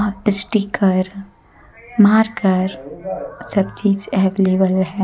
Sticker मारकर सब चीज अवेलेबल है।